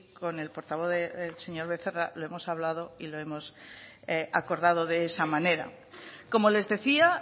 con el portavoz el señor becerra lo hemos hablado y lo hemos acordado de esa manera como les decía